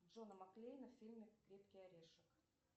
джона макклейна в фильме крепкий орешек